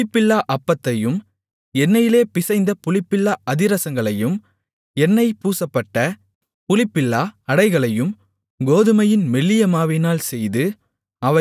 புளிப்பில்லா அப்பத்தையும் எண்ணெயிலே பிசைந்த புளிப்பில்லா அதிரசங்களையும் எண்ணெய் பூசப்பட்ட புளிப்பில்லா அடைகளையும் கோதுமையின் மெல்லியமாவினால் செய்து